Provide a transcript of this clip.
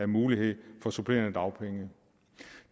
muligheder for supplerende dagpenge